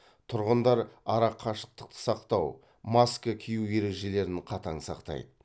тұрғындар арақашықтық сақтау маска киу ережелерін қатаң сақтайды